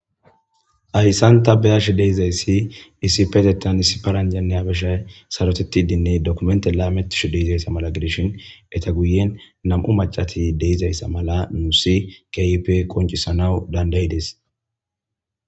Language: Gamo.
Haysan ta beyashe de'izasi issipetetan issi paranjayinne habashayi sarotetidi dokimente lametishe de'izaysa mala gidishn eta guyeni nam'u mac'ati de'izaysa mala nuusi keehippe qoncisanawu danda'idesi.